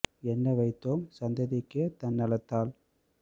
என்னவைத்தோம் சந்ததிக்கே தன்ன லத்தால்